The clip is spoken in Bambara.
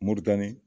Moritani